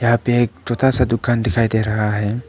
यहां पे एक छोटा सा दुकान दिखाई दे रहा है।